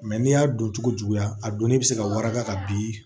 n'i y'a don cogo juguya a donni bɛ se ka waraka ka bin